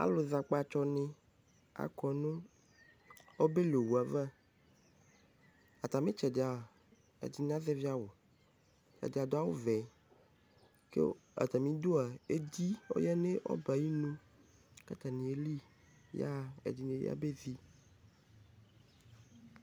Azɛ akpatsɔ ni akʋ nʋ ɔbɛli owu ava Atami itsɛdi a, ɛdini azɛvi awʋ, ɛdi adu awʋ vɛ kʋ atami idu a, edi ɔyanʋ ɔbɛ yɛ ayinʋ kʋ atani ayɛli kʋ ɛdini yabezi